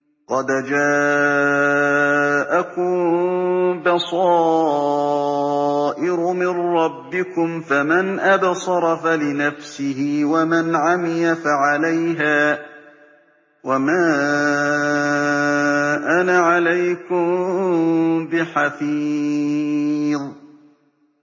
قَدْ جَاءَكُم بَصَائِرُ مِن رَّبِّكُمْ ۖ فَمَنْ أَبْصَرَ فَلِنَفْسِهِ ۖ وَمَنْ عَمِيَ فَعَلَيْهَا ۚ وَمَا أَنَا عَلَيْكُم بِحَفِيظٍ